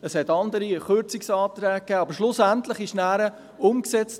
Es gab andere, Kürzungsanträge, aber schlussendlich wurde es nachher umgesetzt: